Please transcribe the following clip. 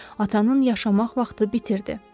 Atanın yaşamaq vaxtı bitirdi.